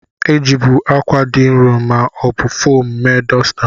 A jibu akwa dị nro ma ọ bụ foomu mee dosta.